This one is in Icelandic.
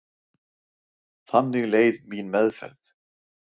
Þannig leið mín meðferð.